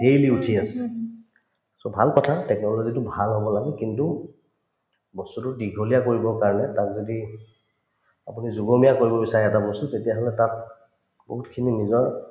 daily উঠিয়ে আছে so ভাল কথা technology তো ভাল হব লাগে কিন্তু বস্তুতো দীঘলীয়া কৰিবৰ কাৰণে তাক যদি আপুনি যোগমীয়া কৰিব বিচাৰে এটা বস্তুক তেতিয়াহলে তাত বহুতখিনি নিজৰ